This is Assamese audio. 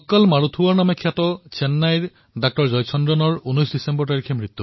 ডাক্টৰ জয়াচন্দ্ৰণক মানুহে মৰমেৰে মক্কল মাৰুথুৱৰ বুলি অভিহিত কৰিছিল কিয়নো তেওঁ দেশবাসীৰ হৃদয়ত আছিল